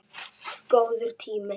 Góður tími.